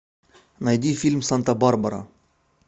найди фильм санта барбара